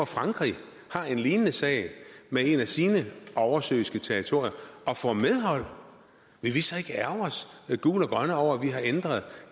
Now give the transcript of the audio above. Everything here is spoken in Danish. frankrig har en lignende sag med et af sine oversøiske territorier og får medhold vil vi så ikke ærgre os gule og grønne over at vi har ændret